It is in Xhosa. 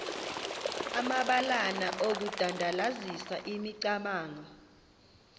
amabalana okudandalazisa imicamango